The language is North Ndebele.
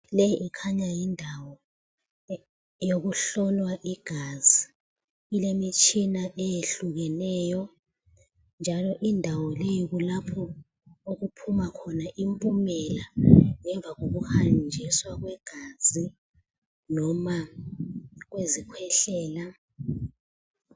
Le ikhanya yindawo eyokuhlolwa igazi. Ilemitshina eyehlukeneyo njalo indawo leyo kulapho okuphuma khona impumela ngemva kokuhanjiswa kwegazi noma kwezikhwehlela.